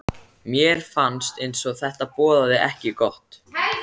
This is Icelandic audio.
Mér fannst eins og þetta boðaði ekki gott.